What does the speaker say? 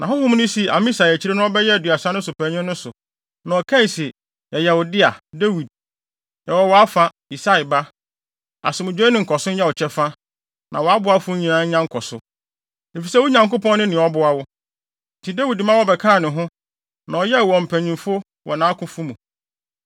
Na honhom no sii Amasai a akyiri no ɔbɛyɛɛ Aduasa no so panyin no so, na ɔkae se, “Yɛyɛ wo dea, Dawid! Yɛwɔ wʼafa, Yisai ba; Asomdwoe ne nkɔso nyɛ wo kyɛfa na wʼaboafo nyinaa nya nkɔso, efisɛ wo Nyankopɔn ne nea ɔboa wo.” Enti Dawid ma wɔbɛkaa ne ho, na ɔyɛɛ wɔn mpanyimfo wɔ nʼakofo mu.